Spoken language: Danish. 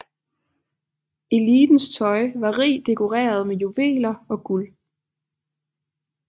Elitens tøj var rigt dekoreret med juveler og guld